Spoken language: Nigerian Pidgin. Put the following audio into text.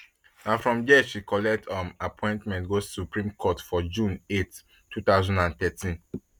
aside law she dey enjoy reading um music information um technology and counselling